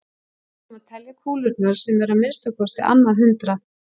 Við ætlum að telja kúlurnar sem eru að minnsta kosti á annað hundrað.